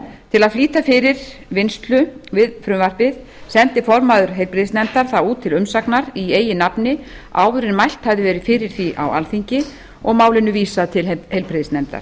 til að flýta fyrir vinnslu við frumvarpið sendi formaður heilbrigðisnefndar það út til umsagnar í eigin nafni áður en mælt hafði verið fyrir því á alþingi og málinu vísað til heilbrigðisnefndar